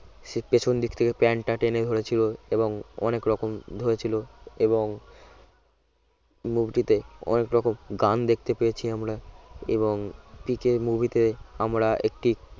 সেই পেছন দিক থেকে প্যান্টটা টেনে ধরেছিল এবং অনেক রকম ধরেছিল এবং movie টিতে অনেক রকম গান দেখতে পেয়েছি আমরা এবং পিকে movie তে আমরা একটি